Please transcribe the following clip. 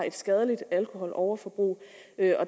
et skadeligt alkoholoverforbrug